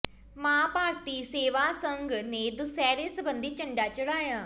ਮਾਂ ਭਾਰਤੀ ਸੇਵਾ ਸੰਘ ਨੇ ਦੁਸਹਿਰੇ ਸਬੰਧੀ ਝੰਡਾ ਚੜ੍ਹਾਇਆ